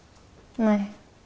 nei